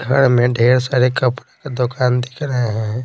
घर में ढेर सारे कपड़े के दुकान दिख रहे हैं।